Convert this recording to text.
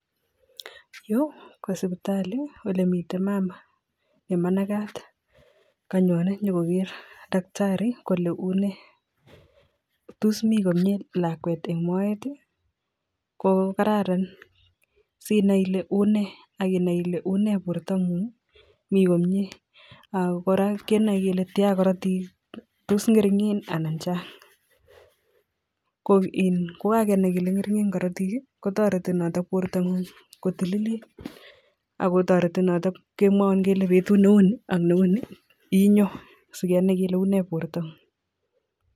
Yuu kosipitali. olemitei mama kanyone nikogeree mama tos mitei komyeee lakwet Eng Maet ako here taktari kotko Mii komyeee karatik